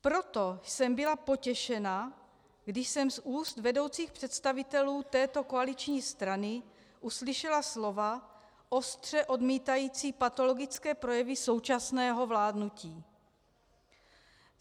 Proto jsem byla potěšena, když jsem z úst vedoucích představitelů této koaliční strany uslyšela slova ostře odmítající patologické projevy současného vládnutí.